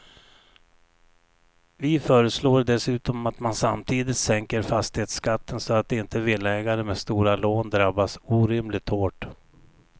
Vi föreslår dessutom att man samtidigt sänker fastighetsskatten så att inte villaägare med stora lån drabbas orimligt hårt.